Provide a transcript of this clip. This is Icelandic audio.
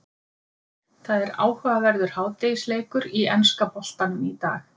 Það er áhugaverður hádegisleikur í enska boltanum í dag.